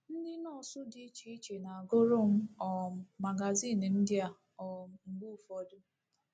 Ndị nọọsụ dị iche iche na-agụrụ m um magazịn ndị a um mgbe ụfọdụ.